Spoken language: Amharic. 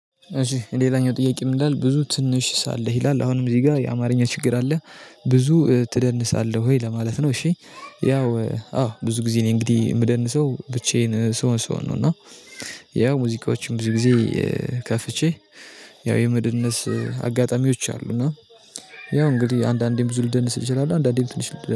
እሺ ሌላኛው ጥያቄ ምንይላል? "ብዙ ትንሽ ሳለህ?" ይላል። አሁንም እዚህ ጋር የአማርኛ ችግር አለ። ብዙ ትደንሳለህ ወይ ለማለት ነው። እሺ፤ ያው አዎ፤ ብዙ ጊዜ እኔ እንግዲህ የምደንሰው ብቻዬን ስሆን ስሆን ነው። እና ያው ሙዚቃዎችን ብዙ ጊዜ ከፍቼ ያው የመደነስ አጋጣሚዎች አሉ። እና ያው እንግዲህ አንዳንዴም ብዙ ልደንስ እንችላለሁ፤ አንዳንዴ ትንሽ ልደንስ